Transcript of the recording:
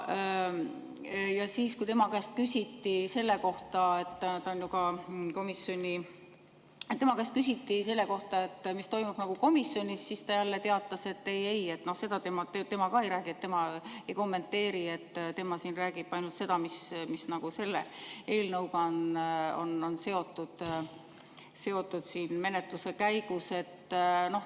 Ja kui tema käest küsiti selle kohta, mis toimub komisjonis, siis ta jälle teatas, et ei-ei, seda tema ka ei räägi, et tema ei kommenteeri, tema räägib ainult seda, mis selle eelnõuga on seotud siin menetluse käigus.